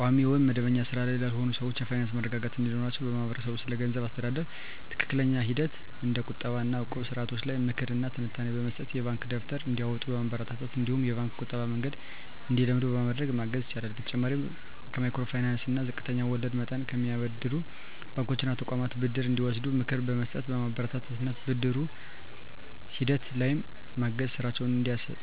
ቋሚ ወይም መደበኛ ሥራ ላይ ላልሆኑ ሰዎች የፋይናንስ መረጋጋት እንዲኖራቸው ማህበረሰቡ ስለገንዘብ አስተዳደር ትክክለኛ ሂደቶች እንደ ቁጠባ እና እቁብ ስርዓቶች ላይ ምክር እና ትንታኔ በመስጠት፣ የባንክ ደብተር እንዲያወጡ በማበረታታት እነዲሁም የባንክ የቁጠባ መንገድን እንዲለምዱ በማድረግ ማገዝ ይችላል። በተጨማሪም ከማይክሮ ፋይናንስ እና ዝቅተኛ ወለድ መጠን ከሚያበድሩ ባንኮች እና ተቋማት ብድር እንዲወስዱ ምክር በመስጠት፣ በማበረታታት እና ብድር ሂደቱ ላይም በማገዝ ስራቸውን